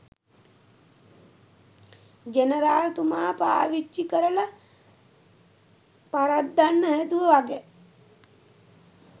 general තුමා පාවිච්චි කරලා පරද්දන්න හැදුවා වගෙ